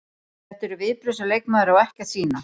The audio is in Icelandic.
Þetta eru viðbrögð sem leikmaður á ekki að sýna.